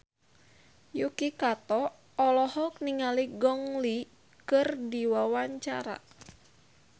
Yuki Kato olohok ningali Gong Li keur diwawancara